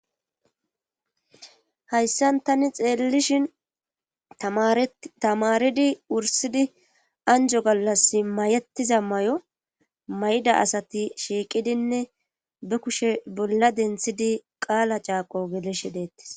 Hayssan tani xeellishin tamaridi wursidi anjo gallas mayettiza may7o may7da asati shiiqidinne be kushe bolla denthidi qaala caaqo geleshe deettis